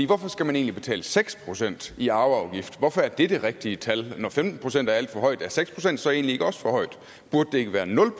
hvorfor skal man egentlig betale seks procent i arveafgift hvorfor er det det rigtige tal når femten procent er alt for højt er seks procent så egentlig ikke også for højt burde det ikke være nul